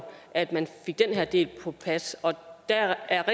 at man fik den her del på plads og der